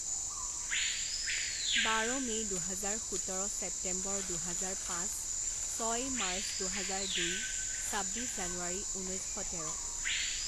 বাৰ মে' দুহাজাৰ, সোতৰ ছেপ্তেম্বৰ দুহাজাৰ পাচঁ, ছয় মাৰ্চ দুহাজাৰ দুই, ছাব্বিছ জানুৱাৰী ঊনৈছশ তেৰ